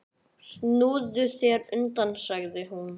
Snúðu þér undan, sagði hún.